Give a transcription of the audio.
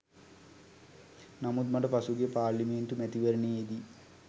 නමුත් මට පසුගිය පාර්ලිමේන්තු මැතිවරණයේදී